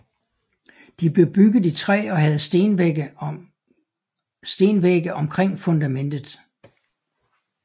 De blev bygget i træ og havde stenvægge omkring fundamentet